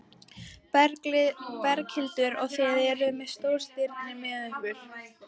Berghildur: Og þið eruð með stórstirni með ykkur?